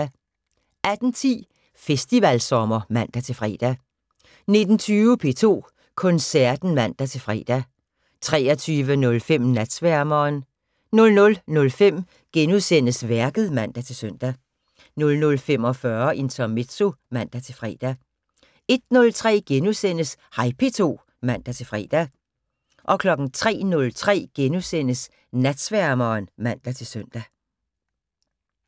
18:10: Festivalsommer (man-fre) 19:20: P2 Koncerten (man-fre) 23:05: Natsværmeren 00:05: Værket *(man-søn) 00:45: Intermezzo (man-fre) 01:03: Hej P2 *(man-fre) 03:03: Natsværmeren *(man-søn)